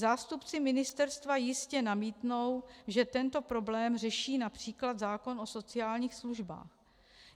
Zástupci ministerstva jistě namítnou, že tento problém řeší například zákon o sociálních službách.